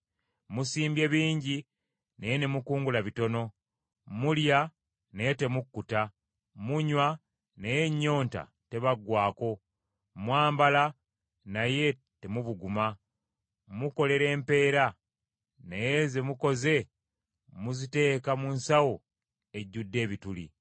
Musimbye bingi naye ne mukungula bitono; mulya naye temukkuta; munywa naye ennyonta tebaggwaako; mwambala naye temubuguma; mukolera empeera naye ze mukoze muziteeka mu nsawo ejjudde ebituli.”